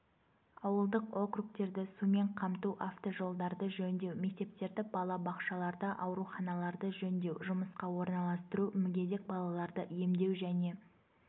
ауылдық округтерді сумен қамту автожолдарды жөндеу мектептерді балабақшаларды ауруханаларды жөндеу жұмысқа орналастыру мүгедек балаларды емдеу және